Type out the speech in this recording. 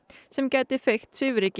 sem gæti feykt svifryki